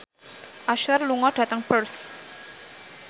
Usher lunga dhateng Perth